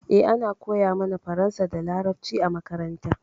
Eh, ana koya mana faransa da laraɓci a maƙaranta.